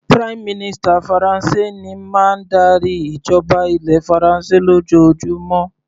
Prime minister Faransé ní máa ń darí ìjọba ilẹ̀ faransé lójoojúmó.